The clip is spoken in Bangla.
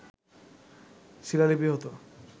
শিলালিপি হতে